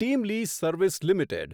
team Lease Service limited